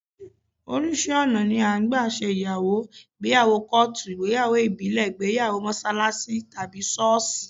Oríṣi ọ̀nà ni à ń gbà ṣe ìyàwó: ìgbéyàwó kọ́ọ̀tù, ìgbéyàwó ìbílẹ̀, ìgbéyàwó mọ́ṣáláṣí tàbí ṣọ́ọ̀ṣì